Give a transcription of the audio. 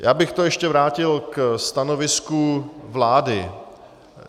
Já bych to ještě vrátil ke stanovisku vlády.